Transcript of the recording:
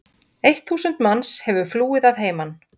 Eitt þúsund manns hefur flúið að heiman.